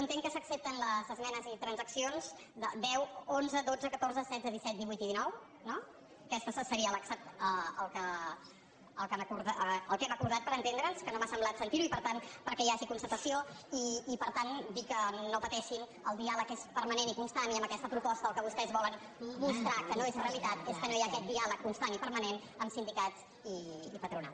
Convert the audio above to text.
entenc que s’accepten les esmenes i transaccions deu onze dotze catorze setze disset divuit i dinou no aquestes serien el que hem acordat per entendre’ns que no m’ha semblat sentir ho i per tant perquè hi hagi constatació i per tant dir que no pateixin el diàleg és permanent i constant i amb aquesta proposta el que vostès volen mostrar que no és realitat és que no hi ha aquest diàleg constant i permanent amb sindicats i patronal